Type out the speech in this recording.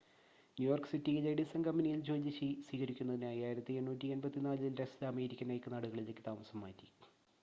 New York സിറ്റിയിലെ Edison കമ്പനിയിൽ ജോലി സ്വീകരിക്കുന്നതിനായി 1884-ൽ ടെസ്‌ല അമേരിക്കൻ ഐക്യനാടുകളിലേക്ക് താമസം മാറ്റി